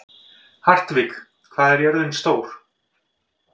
Hartvig, hvað er jörðin stór?